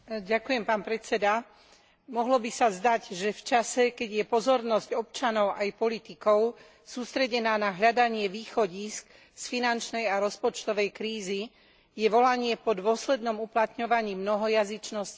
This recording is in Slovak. Mohlo by sa zdať, že v čase, keď je pozornosť občanov aj politikov sústredená na hľadanie východísk z finančnej a rozpočtovej krízy, je volanie po dôslednom uplatňovaní mnohojazyčnosti druhoradou záležitosťou.